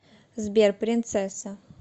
сбер принцесса